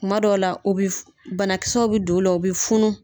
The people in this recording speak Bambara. Kuma dɔw la u bi f banakisɛw be don u la u be funu.